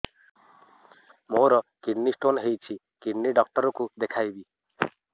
ମୋର kidney stone ହେଇଛି kidney doctor କୁ ଦେଖାଇବି